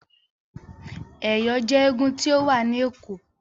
Ẹ̀yọ̀ jẹ́ eégún tí ó wà ni Ẹ̀kọ́.